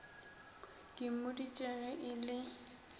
ke mmoditše ge e le